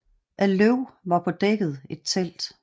Af løv var på dækket et telt